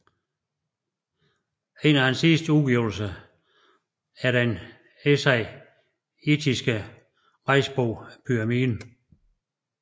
En af hans sidste udgivelser er den essayistiske rejsbog Pyramiden